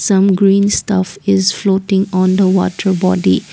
some green stuff is floating on the water body.